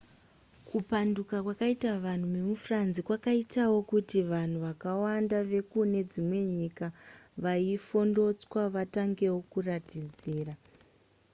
kupanduka kwakaita vanhu vemufrance kwakaitawo kuti vanhu vakawanda vekune dzimwe nyika vaifondotswa vatangewo kuratidzira